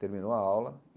Terminou a aula.